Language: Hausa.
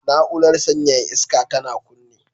Na'urar sanyaya iska tana kunne